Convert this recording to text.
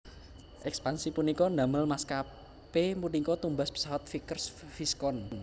Ekspansi punika ndamel maskapé punika tumbas pesawat Vickers Viscount